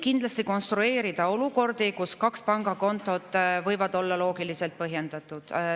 Kindlasti võib konstrueerida olukordi, kus kaks pangakontot võivad olla loogiliselt põhjendatud.